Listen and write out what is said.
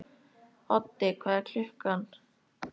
Oddi, hvað er klukkan?